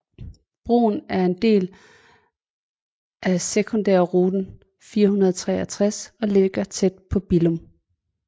Broen er en del af Sekundærrute 463 og ligger tæt på Billum